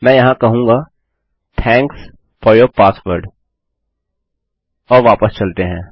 मैं यहाँ कहूँगा थैंक्स फोर यूर पासवर्ड और वापस चलते है